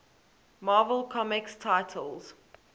marvel comics titles